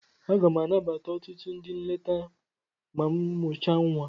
Aga m anabata ọtụtụ ndị nleta ma m mụchaa nwa.